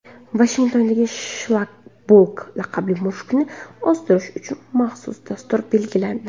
Vashingtonda Shlakoblok laqabli mushukni ozdirish uchun maxsus dastur belgilandi.